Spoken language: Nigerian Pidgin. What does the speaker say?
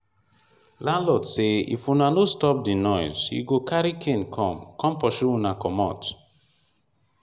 landlord say if una no stop the noise he go carry cane come come pursue una comot